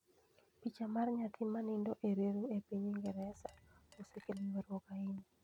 Picha mar nyathi ma nindo e reru e piny Ingresa, osekelo ywaruok ahinya